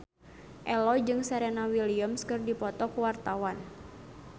Ello jeung Serena Williams keur dipoto ku wartawan